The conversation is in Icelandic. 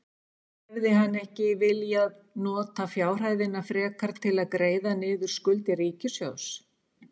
Hefði hann ekki viljað nota fjárhæðina frekar til að greiða niður skuldir ríkissjóðs?